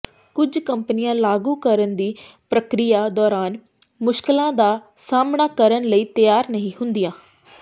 ਕੁਝ ਕੰਪਨੀਆਂ ਲਾਗੂ ਕਰਨ ਦੀ ਪ੍ਰਕਿਰਿਆ ਦੌਰਾਨ ਮੁਸ਼ਕਲਾਂ ਦਾ ਸਾਹਮਣਾ ਕਰਨ ਲਈ ਤਿਆਰ ਨਹੀਂ ਹੁੰਦੀਆਂ